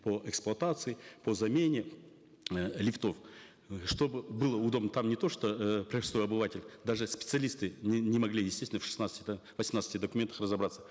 по эксплуатации по замене э лифтов чтобы было удобно там не то что э простой обыватель даже специалисты не могли естественно в шестнадцати да восемнадцати документах разобраться